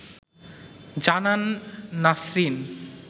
জানান নাসরিন